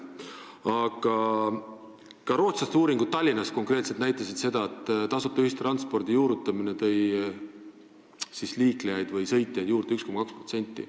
Aga ka rootslaste uuringud Tallinnas näitasid konkreetselt seda, et tasuta ühistranspordi juurutamine tõi liiklejaid või sõitjaid juurde 1,2%.